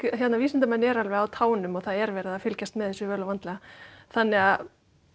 vísindamenn eru alveg á tánum og það er verið að fylgjast með þessu vel og vandlega þannig að